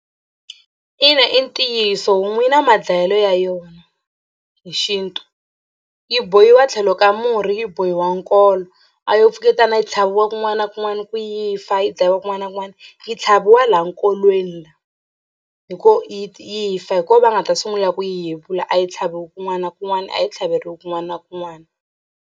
Ina i ntiyiso homu yi na madlayelo ya yona hi xintu yi bohiwa tlhelo ka murhi yi bohiwa nkolo a yo pfuketana yi tlhaviwa kun'wana na kun'wana yi fa yi dlayiwa kun'wana na kun'wana yi tlhaviwa laha nkolweni la hi ko yi fa hi kona va nga ta sungula ku yi yevula a yi tlhaviwi kun'wana na kun'wana a yi tlhaveriwa kun'wana na kun'wana.